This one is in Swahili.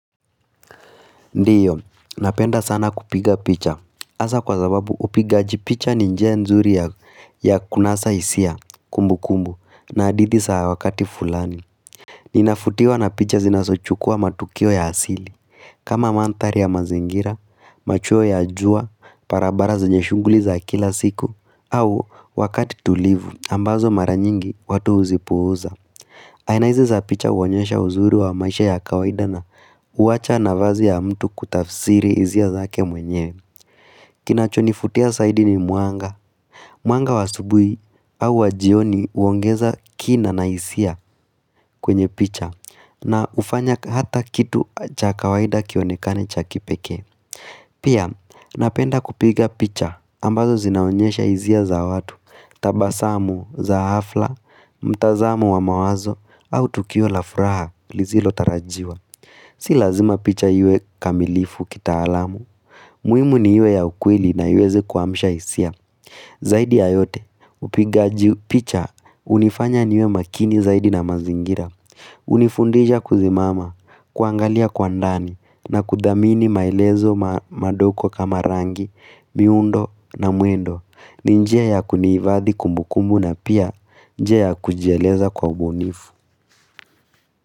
Ndiyo, napenda sana kupiga picha hasa kwa sababu upigaji picha ni njia nzuri ya kunasa hisia kumbukumbu na hadithi za wakati fulani Ninafutiwa na picha zinazochukua matukio ya asili kama mandhari ya mazingira, machuo ya jua, barabara zenye shughuli za kila siku au wakati tulivu, ambazo mara nyingi watu huzipuuza aina izo za picha huonyesha uzuri wa maisha ya kawaida na huacha nafasi ya mtu kutafsiri hisia zake mwenyewe. Kinachonifutia zaidi ni mwanga. Mwanga wa asubuhi au wa jioni huongeza kina na hisia kwenye picha na hufanya hata kitu cha kawaida kionekane cha kipekee. Pia, napenda kupiga picha ambazo zinaonyesha hisia za watu, tabasamu za ghafla, mtazamo wa mawazo au tukio la furaha. Lisilotarajiwa Si lazima picha iwe kamilifu kitaalamu muhimu ni iwe ya ukweli na iweze kuamsha hisia Zaidi ya yote upigaji picha hunifanya niwe makini zaidi na mazingira hunifundisha kusimama, kuangalia kwa ndani na kuthamini maelezo madogo kama rangi, miundo na mwendo ni njia ya kuhifadhi kumbukumbu na pia njia ya kujieleza kwa ubunifu.